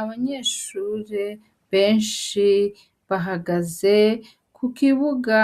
Abanyeshuri benshi bahagaze kukibuga